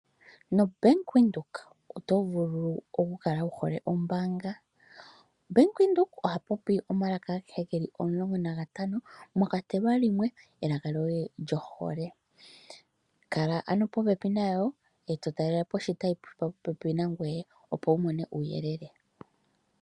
NoBank Windhoek oto vuli oku kala wu hole ombaanga. Bank windhoek oha popi omalaka agehe geli omulongo nagatano mwa kwatelwa limwe elaka lyoye lyohole. Kala ano popepi nayo eto talelepo oshitayi shili popepi nangoye opo wu mone uuyelele.